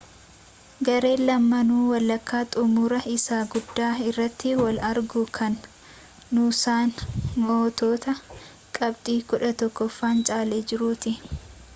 gareen lamaanuu walakkaa xumuraa isa guddaa irratti wal argu kan nuusaan mo'attoota qabxii 11n caalee jirutti